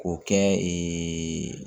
K'o kɛ ee